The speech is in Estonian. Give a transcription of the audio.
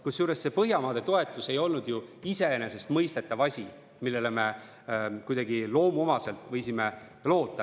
Kusjuures Põhjamaade toetus ei olnud ju iseenesestmõistetav asi, millele me kuidagi loomuomaselt võisime loota.